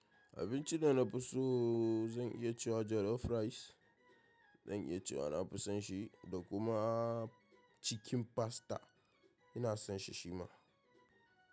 Abinci da na fi so zan iya cewa jollof rice zan iya cewa na fi son shi da kuma chicken pasta ina son shi shima.